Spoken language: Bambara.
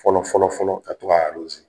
Fɔlɔ fɔlɔ fɔlɔ ka to k'a .